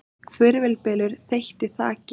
Hvirfilbylur þeytti þaki